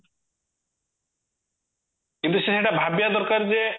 କିନ୍ତୁ ସେ ଏଟା ଭାବିବା ଦରକାର ଯେ